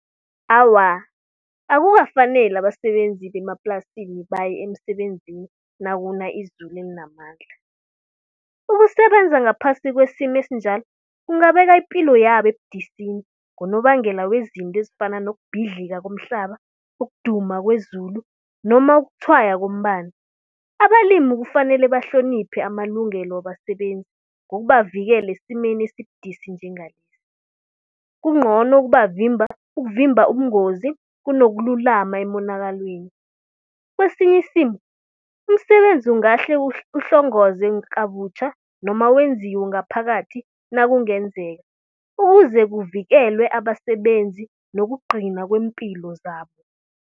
Awa, akukafaneli abasebenzi bemaplasini baye emsebenzini nakuna izulu elinamandla. Ukusebenza ngaphasi kwesimo esinjalo, kungabeka ipilo yabo ebudisini. Ngonobangela wezinto ezifana nokubhidlika komhlaba, ukuduma kwezulu noma ukutshwaya ngombani. Abalimi kufanele bahloniphe amalungelo wabasebenzi, ngokubavikela esimeni esibudisi njengalesi. Kungcono ukubavimba, ukuvimba ubungozi, kunokululama emonakalweni. Kwesinyisimo, umsebenzi ungahle uhlongoze kabutjha noma wenziwe ngaphakathi nakungenzeka. Ukuze kuvikelwe abasebenzi nokugcina kweempilo zabo.